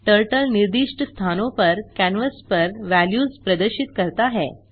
turtle निर्दिष्ट स्थानों पर कैनवास पर वेल्यूज़ प्रदर्शित करता है